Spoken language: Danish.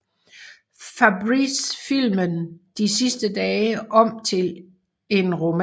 Fabris filmen De sidste dage om til en roman